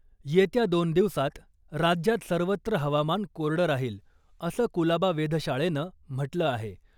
येत्या दोन दिवसात राज्यात सर्वत्र हवामान कोरडं राहील , असं कुलाबा वेधशाळेनं म्हटलं आहे .